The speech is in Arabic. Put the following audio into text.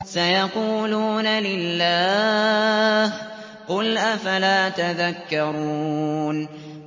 سَيَقُولُونَ لِلَّهِ ۚ قُلْ أَفَلَا تَذَكَّرُونَ